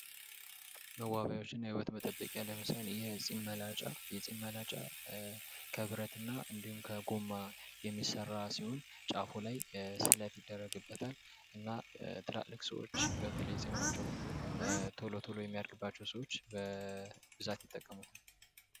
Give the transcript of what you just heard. መዋቢያዎችን እና የውበት መጠበቂያ ለምሳሌ የፂም መላጫ። የፂም የመላጫ ከብረት እና እንዲሁም ከጎማ የሚሰራ ሲሆን ጫፉ ላይ ስለት ይደረግበታል ።ትላልቅ ሰወች በተለይ ፂማቸው ቶሎ ቶሎ የሚድግባቸው ሰዎች በብዛት ይጠቀሙታል።